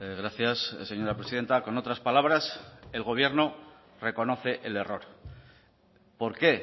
gracias señora presidenta con otras palabras el gobierno reconoce el error por qué